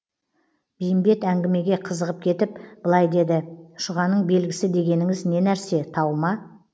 бейімбет әңгімеге қызығып кетіп былай деді шұғаның белгісі дегеніңіз не нәрсе тау ма